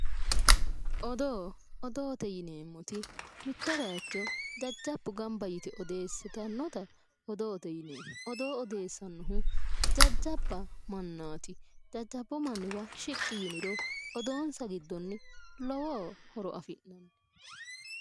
Odoo. Odoote yineemmoti mitto bayicho jajjabbu gamba yite odeessitannota odoote yineemmo. Odoo odeessannohu jajjabba mannaati. Jajjabbu manniwa shiqqi yiniro odoonsa giddonni lowo horo afi'nanni.